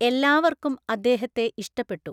എല്ലാവർക്കും അദ്ദേഹത്തെ ഇഷ്ടപ്പെട്ടു.